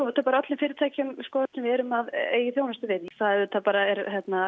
öllum fyrirtækjum sem við eigum í þjónustu við það er